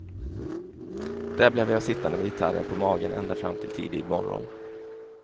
Där blev jag sittande med gitarren på magen ända fram till tidig morgon.